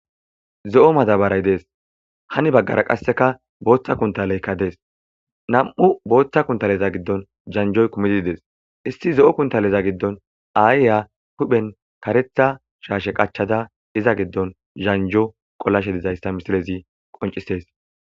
Zo'o madabarayi dessi, henni baggara qasika botha kunitaleyika dessi namu'u botha kuntaleta gidon zanzhoyi kumidi desi issi zo'o kuntaleza gidoni ayiya hupheni karetha shashe qachada iza gidoni zanzho qolashe dizayisa misilezi qoncisesi